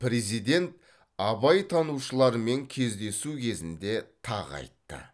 президент абайтанушылармен кездесу кезінде тағы айтты